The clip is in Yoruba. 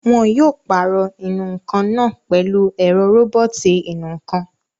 Wọn yóò pàrọ̀ ìnù-ǹkan náà pẹ̀lú ẹ̀rọ róbọ̀tì ìnù-ǹkan